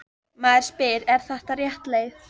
Maður spyr: Er þetta rétt leið?